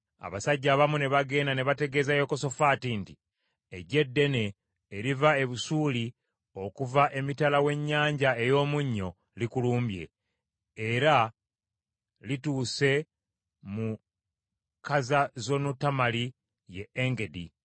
Abasajja abamu ne bagenda ne bategeeza Yekosafaati nti, “Eggye ddene eriva e Busuuli okuva emitala w’Ennyanja ey’Omunnyo, likulumbye, era lituuse mu Kazazonutamali, ye Engedi,”